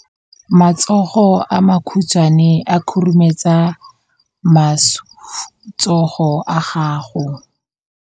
Matsogo a makhutshwane a khurumetsa masufutsogo a gago.